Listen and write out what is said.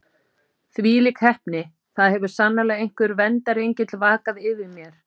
Þvílík heppni: það hefur sannarlega einhver verndarengill vakað yfir mér.